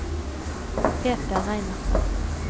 Peter Reinertsen